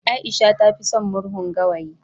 Aisha ta fi son murhun gawayi